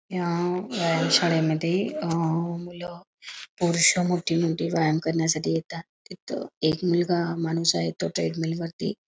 या व्यायाम शाळेमध्ये मुलं पुरुष मोठी मोठी लहान व्यायाम करण्यासाठी येतात तिथे एक मुलगा माणूस आहे तो ट्रेडमिल वरती--